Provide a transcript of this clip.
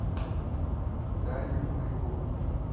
дарья куликова